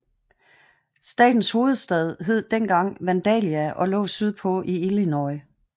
Statens hovedstad hed dengang Vandalia og lå sydpå i Illinois